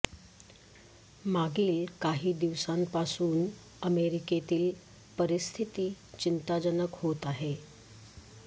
मागील काही दिवसांपासून अमेरिकेतील परिस्थिती चिंताजनक होत आहे